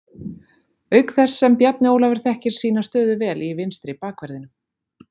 Auk þess sem Bjarni Ólafur þekkir sína stöðu vel í vinstri bakverðinum.